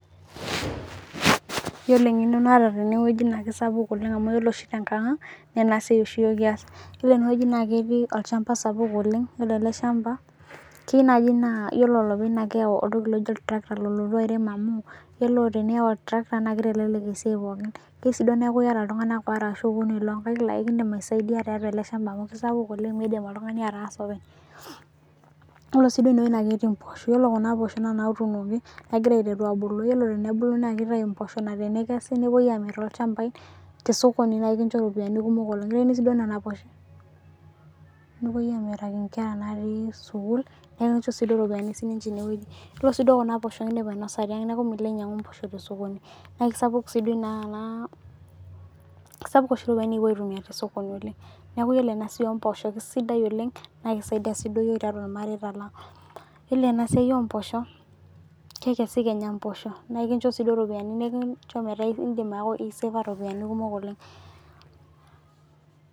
Iyiolo engeno naata teneweji naa kisapuk amu iyiolo oshi te nkang'ang naa ena siai oshi kias naa ketii olchamba sapuk oleng'. Iyiolo ele shamba keyeu naji naa ore olepeny keyau entoki naijo oltirakita. Lolotu airem amuu iyiolo teniyau oltirakita naa kitelelek esiai pookin. Keyeu sii naa iyata iltung'ana are ashu okuni loo nkaik laikidim asaidia tiatua olchmaba mau kisapuk oleng' miidim iltung'ani ataasa openy. Oree aii eneweji naa ketii mposho. Ore kuna poosho naa ijo noshi natuunoki egira aiteru abulu ore tenebulu na kitayu imposho naa tenekesi nepuo amir toolchambai te sokoni naa ikincho ropiani kumok oleng' . Nepuoi amiraki inkera akeyie sukul naa ikinchok sii iropiani. Iyiolo sii kuna posho idim aionsa tiang' neeku milo ainyang'u mposho sokoni naa kisapuk sii nena kisapuk oshi iropiani nikipuo aitumia te sokoni neeku ore ena siai oo mposho kisidai oleng'. Naa kisaidia sii iyiok tiatu ill. areta lang'. Iyiolo ena siai oo mpsoho kekesi kenya mpsoho naa ikincho sii iroppiai nikincho meeta isevaa iropiani kumok oleng'.